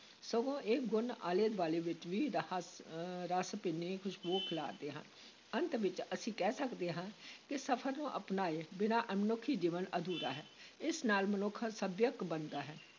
ਸਗੋਂ ਇਹ ਗੁਣ ਆਲੇ-ਦੁਆਲੇ ਵਿਚ ਵੀ ਰ ਅਹ ਰਸ ਭਿੰਨੀ ਖੁਸ਼ਬੂ ਖਿਲਾਰਦੇ ਹਨ, ਅੰਤ ਵਿਚ ਅਸੀਂ ਕਹਿ ਸਕਦੇ ਹਾਂ ਕਿ ਸਫ਼ਰ ਨੂੰ ਅਪਣਾਏ ਬਿਨਾਂ ਮਨੁੱਖੀ ਜੀਵਨ ਅਧੂਰਾ ਹੈ, ਇਸ ਨਾਲ ਮਨੁੱਖ ਸੱਭਿਅਕ ਬਣਦਾ ਹੈ।